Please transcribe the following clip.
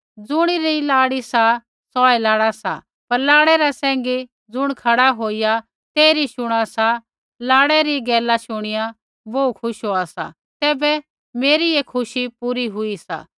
ज़ुणिरी लाड़ी सा सौहै लाड़ा सा पर लाड़ै रा सैंघी ज़ुण खड़ा होईया तेइरी शुणा सा लाड़ै री गैला शुणीऐ बोहू खुश होआ सी ऐबै मेरी ऐ खुशी पूरी हुई सा